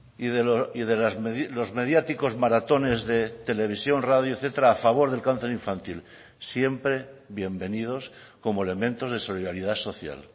y los mediáticos maratones de televisión radio etcétera a favor del cáncer infantil siempre bienvenidos como elementos de solidaridad social